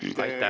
Aitäh!